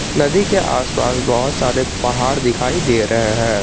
नदी के आसपास बहुत सारे पहाड़ दिखाई दे रहे हैं।